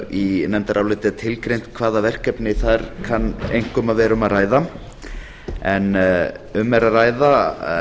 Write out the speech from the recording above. í nefndaráliti er tilgreint hvaða verkefni þar kann einkum að vera um að ræða en um er að ræða